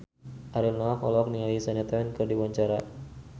Ariel Noah olohok ningali Shania Twain keur diwawancara